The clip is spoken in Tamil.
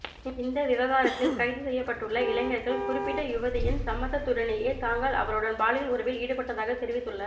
இந்த விவகாரத்தில் கைதுசெய்யப்பட்டுள்ள இளைஞர்கள் குறிப்பிட்ட யுவதியின் சம்மதத்துடனேயே தாங்கள் அவருடன் பாலியல் உறவில் ஈடுபட்டதாக தெரிவித்துள்ள